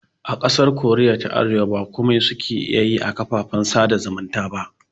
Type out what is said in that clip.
A ƙasar koriya ta arewa ba komai suke iya yi a kafafen sada zumunta ba